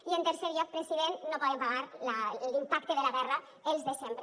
i en tercer lloc president no poden pagar l’impacte de la guerra els de sempre